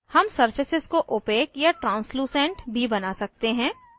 हम surfaces को opaque अपारदर्शी या translucent भी बना सकते हैं